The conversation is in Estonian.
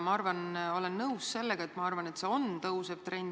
Ma olen nõus sellega, et see on kasvav trend.